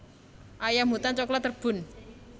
Ayam hutan coklat Rebhuhn